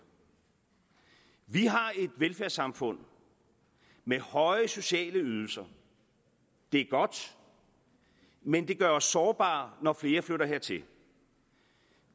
vi har et velfærdssamfund med høje sociale ydelser det er godt men det gør os sårbare når flere flytter hertil